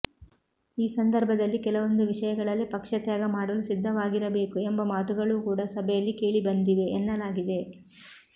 ಈ ಸಂದರ್ಭದಲ್ಲಿ ಕೆಲವೊಂದು ವಿಷಯಗಳಲ್ಲಿ ಪಕ್ಷ ತ್ಯಾಗ ಮಾಡಲು ಸಿದ್ಧವಾಗಿರಬೇಕು ಎಂಬ ಮಾತುಗಳು ಕೂಡ ಸಭೆಯಲ್ಲಿ ಕೇಳಿಬಂದಿವೆ ಎನ್ನಲಾಗಿದೆ